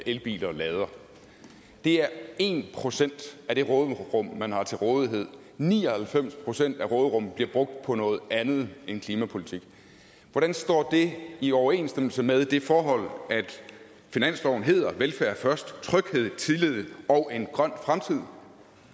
elbiler med det er en procent af det råderum man har til rådighed ni og halvfems procent af råderummet bliver brugt på noget andet end klimapolitik hvordan er det i overensstemmelse med det forhold at finansloven hedder velfærd først tryghed tillid og en grøn fremtid